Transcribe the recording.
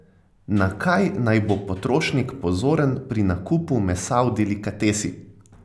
Na kaj naj bo potrošnik pozoren pri nakupu mesa v delikatesi?